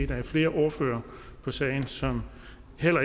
der er flere ordførere på sagen som